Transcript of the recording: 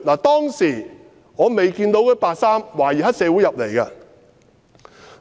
"當時我未見到穿白衣的懷疑黑社會分子進入站內。